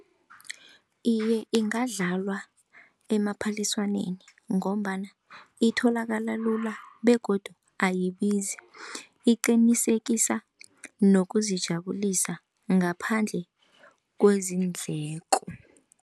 Iye, ingadlalwa emaphaliswaneni ngombana itholakala lula begodu ayibizi iqinisekisa nokuzijabulisa ngaphandle kwezindleko.